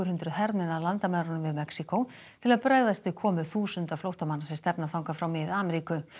hundruð hermenn að landamærunum við Mexíkó til að bregðast við komu þúsunda flóttamanna sem stefna þangað frá Mið Ameríku